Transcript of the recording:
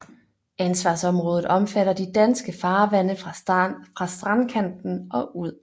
Ansvarsområdet omfatter de danske farvande fra strandkanten og ud